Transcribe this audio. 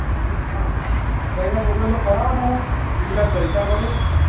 હા બયડા ના છોકરા ને ફરવો નાં ને બિન્દાસ જલસા કરો